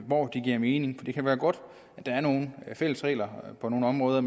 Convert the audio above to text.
hvor det giver mening for det kan være godt at der er nogle fælles regler på nogle områder